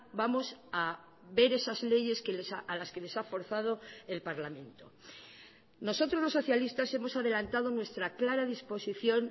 vamos a ver esas leyes a las que les ha forzado el parlamento nosotros los socialistas hemos adelantado nuestra clara disposición